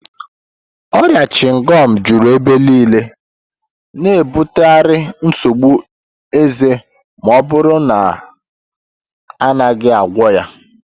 Ọrịa chịngọm juru ebe niile, na-ebutekarị nsogbu eze ma ọ bụrụ na a naghị agwọ ya